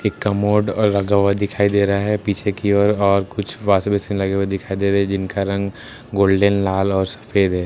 एक कमोड ओर लगा हुआ दिखाई दे रहा है पीछे की ओर और कुछ वाशिंग मशीन लगे हुए दिखाई दे रहे है जिनका रंग गोल्डन लाल और सफेद है।